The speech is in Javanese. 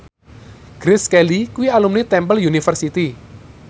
Grace Kelly kuwi alumni Temple University